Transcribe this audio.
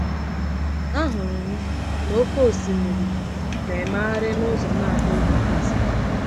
“Ahụrụ m na oke osimiri na-emegharị n’ụzọ na-abụghị nkịtị.